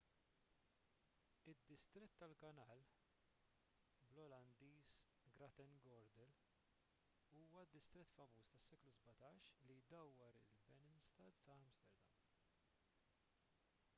id-distrett tal-kanal bl-olandiż: grachtengordel huwa d-distrett famuż tas-seklu 17 li jdawwar il-binnenstad ta’ amsterdam